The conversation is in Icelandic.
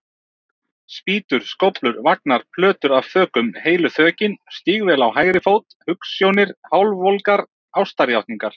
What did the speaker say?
Spýtur, skóflur, vagnar, plötur af þökum, heilu þökin, stígvél á hægri fót, hugsjónir, hálfvolgar ástarjátningar.